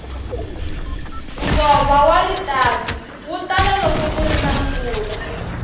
nkova wa ritavi wu tala loko kuna mpfula